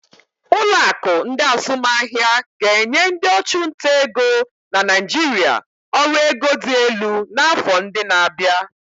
Ụlọ akụ ndi azumaahia ga-enye ndị ọchụnta ego na Naijiria ọrụ ego dị elu n'afọ ndị na-abịa.